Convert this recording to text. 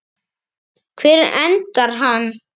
Hvar endar hann?